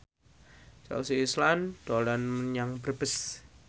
Chelsea Islan dolan menyang Brebes